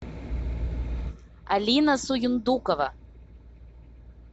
алина суюндукова